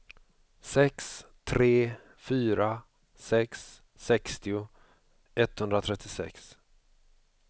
sex tre fyra sex sextio etthundratrettiosex